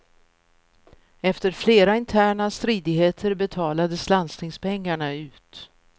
Efter flera interna stridigheter betalades landstingspengarna ut.